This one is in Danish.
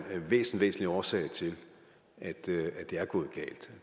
væsentlig væsentlig årsag til at det er gået galt